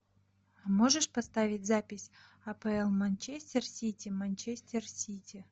можешь поставить запись апл манчестер сити манчестер сити